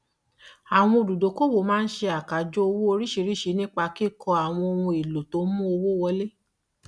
àwọn olùdókòwò máa ń ṣe àkájọ owó oríṣiríṣi nípa kíkó ohun èlò tó mú owó wọlé